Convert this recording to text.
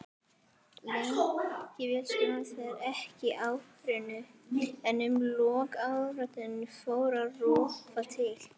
Lengi vel skilaði þetta ekki árangri en undir lok áratugarins fór að rofa til.